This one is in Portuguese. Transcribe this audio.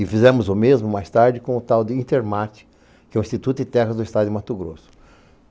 E fizemos o mesmo mais tarde com o tal de Intermate, que é o Instituto de Terras do Estado de Mato Grosso.